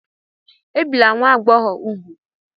Ebila nwa agbọghọ úgwù!